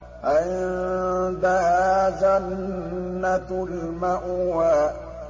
عِندَهَا جَنَّةُ الْمَأْوَىٰ